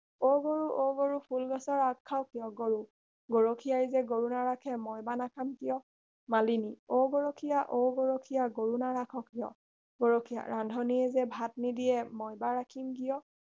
অ গৰু অ গৰু ফুলগছৰ আগ খাৱ কিয় গৰু গৰখীয়াই যে গৰু নাৰাখে মই বা নাখাম কিয় মালিনী অ গৰখীয়া অ গৰখীয়া গৰু নাৰাখ কিয় গৰখীয়া ৰান্ধনীয়ে যে ভাত নিদিয়ে মই বা ৰাখিম কিয়